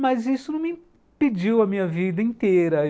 Mas isso não me impediu a minha vida inteira.